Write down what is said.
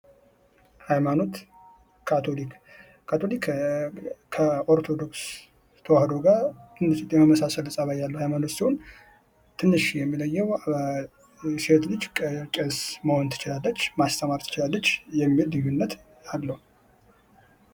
ሃይማኖት ካቶሊክ ካቶሊክ፦ ከኦርቶዶክስ ተዋሕዶ ጋር ትንሽ የመመሳሰል ጠባይ ያለው ሃይማኖት ሲሆን ትንሽ የሚለየው ሴቶች ቄስ መሆን ትችላለች፤ ማስተማር ትችላለች የሚል ልዩነት አለው።